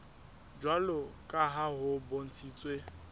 jwalo ka ha ho bontshitswe